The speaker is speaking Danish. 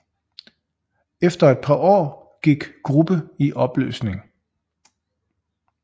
Efter et par år gik gruppe i opløsning